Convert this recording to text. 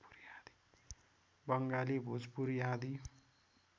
बङ्गाली भोजपुरी आदि